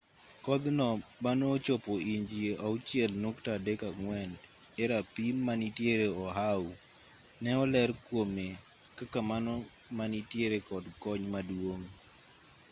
kodh no mane ochopo inji 6.34 e rapim manitiere oahu ne oler kuome kaka mano ma nitiere kod kony maduong